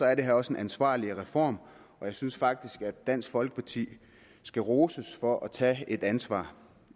er det her også en ansvarlig reform og jeg synes faktisk at dansk folkeparti skal roses for at tage et ansvar